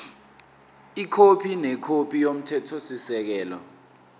ikhophi nekhophi yomthethosisekelo